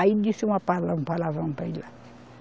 Aí disse uma pala, um palavrão para ele lá.